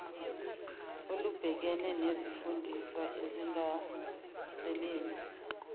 olubhekene nezifundiswa ezingasebenzi